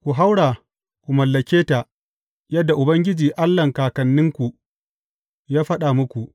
Ku haura ku mallake ta yadda Ubangiji Allahn kakanninku ya faɗa muku.